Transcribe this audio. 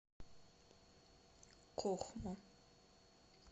кохму